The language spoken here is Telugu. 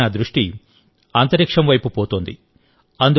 ఇప్పుడు నా దృష్టి అంతరిక్షం వైపు మతోంది